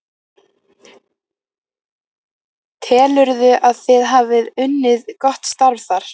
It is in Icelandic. Telurðu að þið hafi unnið gott starf þar?